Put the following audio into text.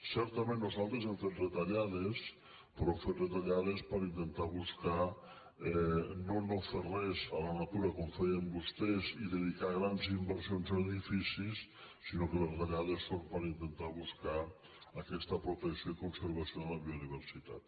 certament nosaltres hem fet retallades però hem fet retallades per intentar buscar no no fer res a la natura com feien vostès i dedicar grans inversions a edificis sinó que les retallades són per intentar buscar aquesta protecció i conservació de la biodiversitat